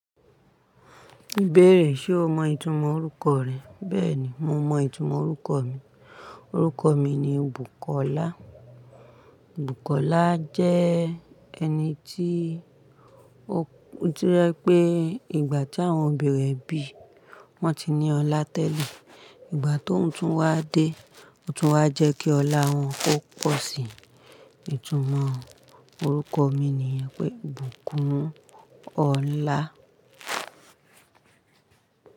Ìbéèrè ṣé o mọ ìtumọ̀ orúkọ rẹ bẹ́ẹ̀ni mọ ìtu momo orúkọ mi òrúkọ mi ni Bukola. Bukola jẹ́ ẹni tí ó toye pé ìgbà tí àwọn òbí rẹ̀ bí, wọ́n ti ní ọlá tẹ́lẹ̀, ìgbà tóhun tún wá dé, ó tún wá jẹ́ kí ọlá wọn kó pọ̀ sí i. Ìtumọ̀ orúkọ mi nìyẹn pé 'bùkún ọlá'.